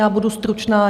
Já budu stručná.